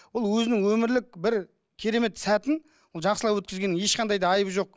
ол өзінің өмірлік бір керемет сәтін ол жақсылап өткізгеннің ешқандай да айыбы жоқ